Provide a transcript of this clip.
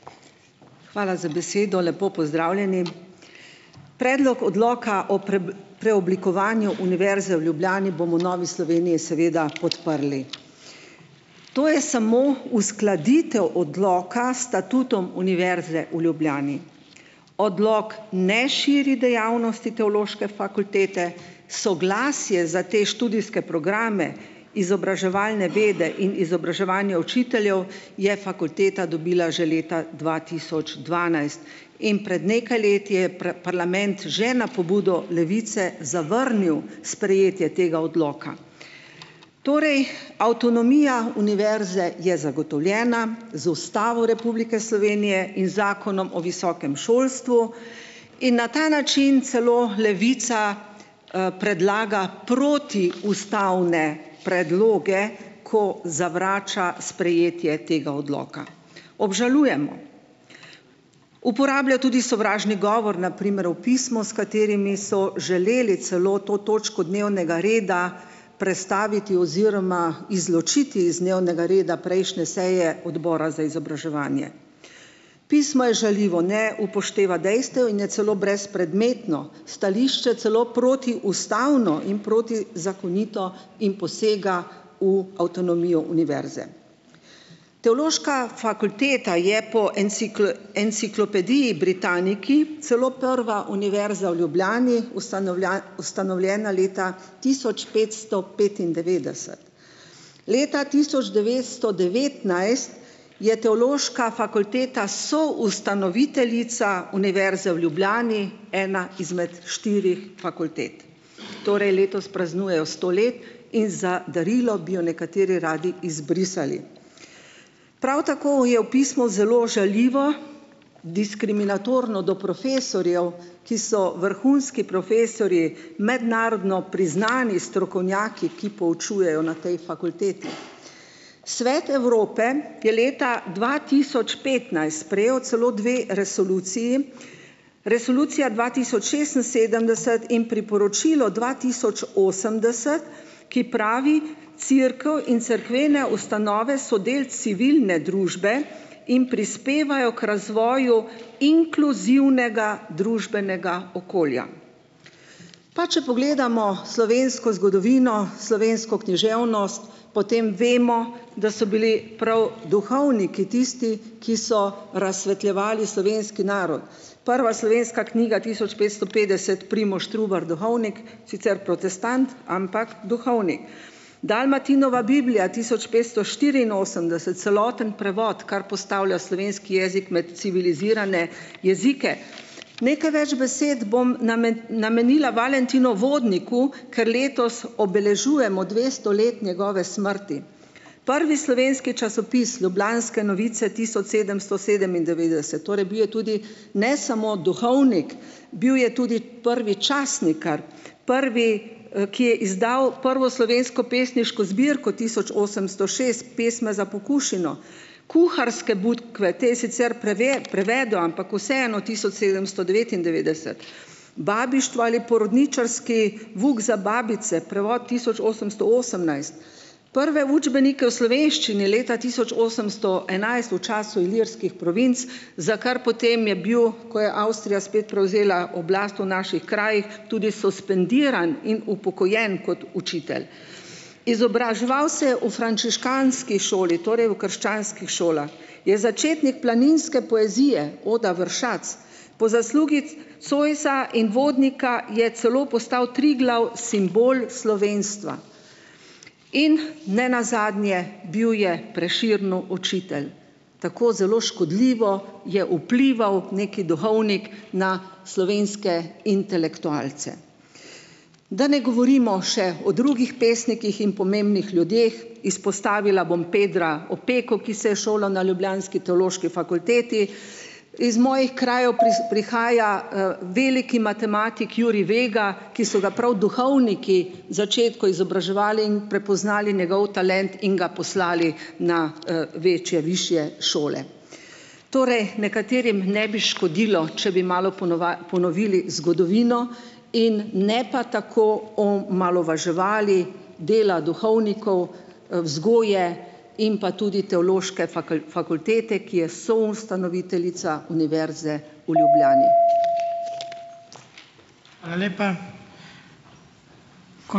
Hvala za besedo. Lepo pozdravljeni. Predlog odloka o preoblikovanju Univerze v Ljubljani bomo v Novi Sloveniji seveda podprli. To je samo uskladitev odloka s statutom Univerze v Ljubljani. Odlok ne širi dejavnosti Teološke fakultete. Soglasje za te študijske programe, izobraževalne vede in izobraževanje učiteljev, je fakulteta dobila že leta dva tisoč dvanajst. In pred nekaj leti je parlament že na pobudo Levice zavrnil sprejetje tega odloka. Torej avtonomija univerze je zagotovljena z Ustavo Republike Slovenije in z Zakonom o visokem šolstvu. In na ta način celo Levica, predlaga protiustavne predloge, ko zavrača sprejetje tega odloka. Obžalujemo. Uporablja tudi sovražni govor, na primer v pismu, s katerimi so želeli celo to točko dnevnega reda prestaviti oziroma izločiti iz dnevnega reda prejšnje seje odbora za izobraževanje. Pismo je žaljivo, ne upošteva dejstev in je celo brezpredmetno, stališče celo protiustavno in protizakonito in posega v avtonomijo univerze. Teološka fakulteta je po Enciklopediji Britannici celo prva univerza v Ljubljani, ustanovljena leta tisoč petsto petindevetdeset. Leta tisoč devetsto devetnajst je Teološka fakulteta soustanoviteljica Univerze v Ljubljani, ena izmed štirih fakultet. Torej letos praznujejo sto let in za darilo bi jo nekateri radi izbrisali. Prav tako je v pismu zelo žaljivo, diskriminatorno do profesorjev, ki so vrhunski profesorji, mednarodno priznani strokovnjaki, ki poučujejo na tej fakulteti. Svet Evrope je leta dva tisoč petnajst sprejel celo dve resoluciji, Resolucija dva tisoč šestinsedemdeset in Priporočilo dva tisoč osemdeset, ki pravi, cerkev in cerkvene ustanove so del civilne družbe in prispevajo k razvoju inkluzivnega družbenega okolja. Pa če pogledamo slovensko zgodovino, slovensko književnost, potem vemo, da so bili prav duhovniki tisti, ki so razsvetljevali slovenski narod. Prva slovenska knjiga, tisoč pesto petdeset, Primož Trubar, duhovnik, sicer protestant, ampak duhovni. Dalmatinova Biblija, tisoč petsto štiriinosemdeset, celoten prevod, kar postavlja slovenski jezik med civilizirane jezike. Nekaj več besed bom namenila Valentinu Vodniku, ker letos obeležujemo dvesto let njegove smrti. Prvi slovenski časopis Lublanske novice, tisoč sedemsto sedemindevetdeset, torej bil je tudi ne samo duhovnik, bil je tudi prvi časnikar, prvi, ki je izdal prvo slovensko pesniško zbirko tisoč osemsto šest Pesme za pokušino, Kuharske bukve, te je sicer prevedel, ampak vseeno tisoč sedemsto devetindevetdeset, Babištvo ali porodničarski vuk za babice, prevod tisoč osemsto osemnajst, prve učbenike v slovenščini leta tisoč osemsto enajst v času Ilirskih provinc, za kar potem je bil, ko je Avstrija spet prevzela oblast v naših krajih, tudi suspendiran in upokojen kot učitelj. Izobraževal se je v frančiškanski šoli, torej v krščanskih šolah. Je začetnik planinske poezije Oda vršac. Po zaslugi Zoisa in Vodnika je celo postal Triglav simbol slovenstva. In ne nazadnje bil je Prešernu učitelj. Tako zelo škodljivo je vplival neki duhovnik na slovenske intelektualce. Da ne govorimo še o drugih pesnikih in pomembnih ljudeh. Izpostavila bom Pedra Opeko, ki se je šolal na ljubljanski teološki fakulteti. Iz mojih krajev prihaja, veliki matematik Jurij Vega, ki so ga prav duhovniki začetku izobraževali in prepoznali njegov talent in ga poslali na, večje višje šole. Torej, nekaterim ne bi škodilo, če bi malo ponovili zgodovino in ne pa tako omalovaževali dela duhovnikov, vzgoje in pa tudi Teološke fakultete, ki je soustanoviteljica Univerze v Ljubljani.